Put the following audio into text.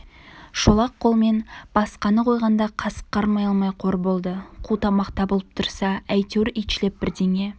шолақ қолмен басқаны қойғанда қасық қармай алмай қор болды қу тамақ табылып тұрса әйтеуір итшілеп бірдеңе